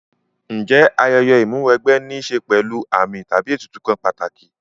Ǹjẹ́ ayẹyẹ Ìmúw'ẹgbẹ́ ní ṣe pẹ̀lú àmì tàbí ètùtù kan pàtàkì